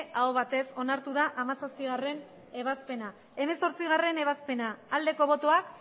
aho batez onartu da hamazazpigarrena ebazpena hemezortzigarrena ebazpena aldeko botoak